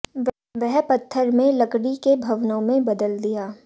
वह पत्थर में लकड़ी के भवनों में बदल दिया